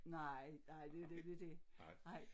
Nej nej det nemlig dét